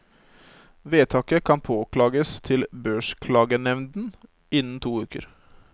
Vedtaket kan påklages til børsklagenevnden innen to uker.